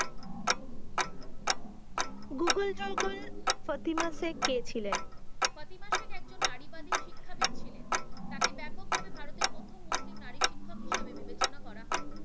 কে ছিলেন? কতিক মাসে একজন নারীবাদী শিক্ষাবিদ ছিলেন, টাকে ব্যপক ভাবে ভারতে প্রথম মুসলিম নারী শিক্ষক হিসেবে বিবেচনা করা হয়।